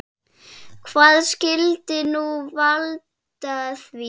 Hvað skyldi nú valda því?